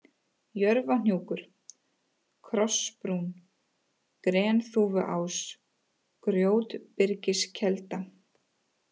Jörfahnúkur, Krossbrún, Grenþúfuás, Grjótbyrgiskelda